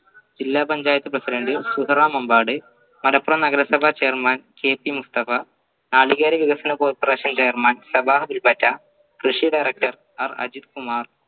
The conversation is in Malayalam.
ജില്ലാ പഞ്ചായത്ത് president സുഹറ മുമ്പാട് മലപ്പുറം നഗരസഭ chair manKP മുസ്തഫ നാളികേറി വികസന corporation chair man സഭാ വിൽപ്പറ്റ കൃഷി director ആർ അജിത് കുമാർ